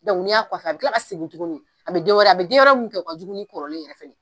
Dɔnku n'i y'a. , a bi tila ka segin tuguni, a bɛ den wɛrɛ, a bɛ den wɛrɛ kɛ min ka jugu kɔrɔlen yɛrɛ ye!